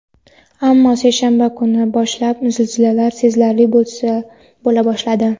Ammo seshanba kunidan boshlab zilzilalar sezilarli bo‘la boshladi.